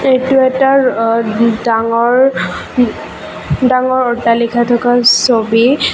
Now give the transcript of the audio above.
এইটো এটা অ ডাঙৰ ডাঙৰ অট্টালিকা থকা ছবি।